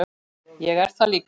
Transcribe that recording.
Ég er það líka.